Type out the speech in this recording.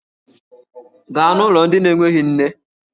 Gaa n'ụlọ ndị na-enweghị nne!